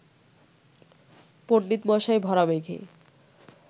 পণ্ডিতমশাই ভরা মেঘে